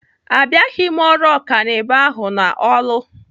Abịaghị m ọrụ ọkanibo ahụ n'Orlu